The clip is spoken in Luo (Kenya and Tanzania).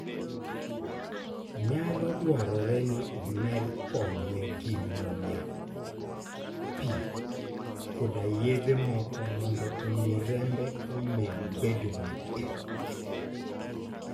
Nyalo dwarore ni omed konye gi muya, pii, koda yedhe moko mondo omi rembe omed bedo matek.